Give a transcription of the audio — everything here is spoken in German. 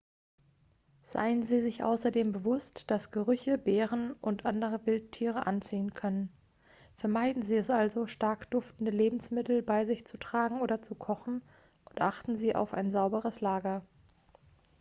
seien sie sich außerdem bewusst dass gerüche bären und andere wildtiere anziehen können vermeiden sie es also stark duftende lebensmittel bei sich zu tragen oder zu kochen und achten sie auf ein sauberes lager